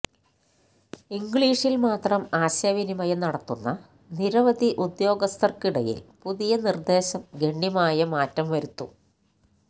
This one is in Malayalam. ഇംഗ്ലീഷില് മാത്രം ആശയവിനിമയം നടത്തുന്ന നിരവധി ഉദ്യോഗസ്ഥര്ക്കിടയില് പുതിയനിര്ദേശം ഗണ്യമായ മാറ്റം വരുത്തും